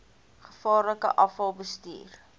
gevaarlike afval bestuur